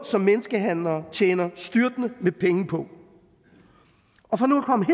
som menneskehandlere tjener styrtende med penge på og for nu at komme